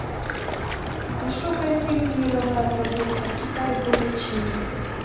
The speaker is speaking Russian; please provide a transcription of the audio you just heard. пошукай фильм мировая прогулка китай город чэнду